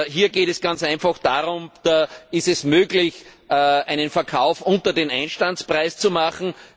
Hier geht es ganz einfach darum Ist es möglich, einen Verkauf unter dem Einstandspreis zu machen?